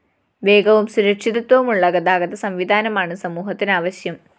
േവഗവും സുരക്ഷിതത്വവുമുള്ള ഗതാഗതസംവിധാനമാണ് സമൂഹത്തിന് ആവശ്യം